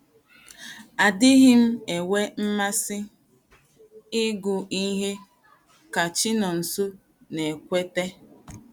“ Adịghị m enwe mmasị ịgụ ihe, ” ka Chinonso na - ekweta.